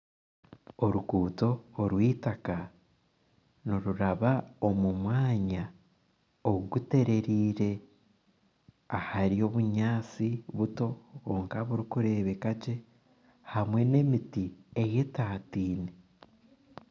Oruguuto orw'itaka niruraba omumwanya oguterire ahari obunyansi buto kwonka burikurebekagye hamwe n'emiti eyetatine.